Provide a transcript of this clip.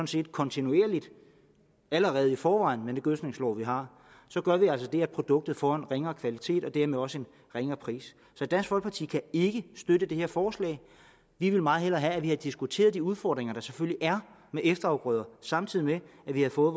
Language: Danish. set kontinuerligt allerede i forvejen med de gødskningslove vi har så gør vi altså det at produktet får en ringere kvalitet og dermed også en ringere pris så dansk folkeparti kan ikke støtte det her forslag vi ville meget hellere have haft at vi havde diskuteret de udfordringer der selvfølgelig er med efterafgrøder samtidig med at vi havde fået